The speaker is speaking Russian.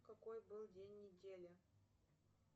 какой был день недели